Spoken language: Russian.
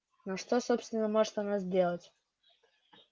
но что собственно может она сделать